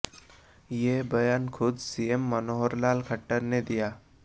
यह बयान खुद सीएम मनोहर लाल खट्टर ने दिया